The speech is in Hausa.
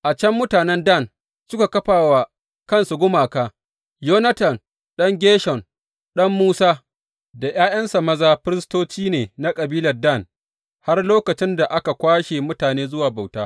A can mutanen Dan suka kafa wa kansu gumaka, Yonatan ɗan Gershom, ɗan Musa, da ’ya’yansa maza firistoci ne na kabilar Dan har lokacin da aka kwashe mutane zuwa bauta.